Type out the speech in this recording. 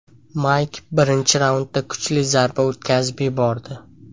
Mayk birinchi raundda kuchli zarba o‘tkazib yubordi.